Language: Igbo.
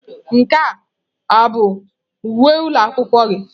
Nke a ọ bụ uwe ụlọ akwụkwọ gị?